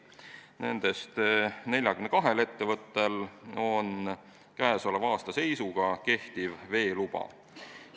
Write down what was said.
Nendest 42 ettevõttel on käesoleva aasta seisuga kehtiv veeluba.